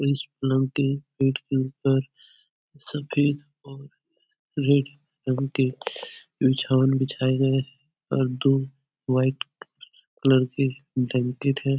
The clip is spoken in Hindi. इस पलंग के ऊपर सफ़ेद और रेड रंग के बिछाए गए हैं और दो वाईट कलर के ब्लैंकेट है।